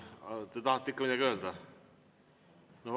Aga te tahate ikka midagi öelda?